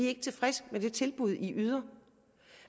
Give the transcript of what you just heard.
er tilfredse med det tilbud de yder